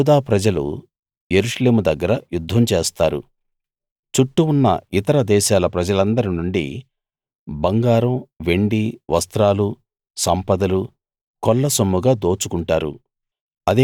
యూదా ప్రజలు యెరూషలేము దగ్గర యుద్ధం చేస్తారు చుట్టూ ఉన్న ఇతర దేశాల ప్రజలందరి నుండి బంగారం వెండి వస్త్రాలు సంపదలు కొల్లసొమ్ముగా దోచుకుంటారు